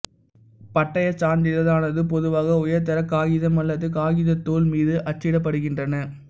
பட்டயச் சான்றிதழானது பொதுவாக உயர்தர காகிதம் அல்லது காகிதத்தோல் மீது அச்சிடப்படுகின்றன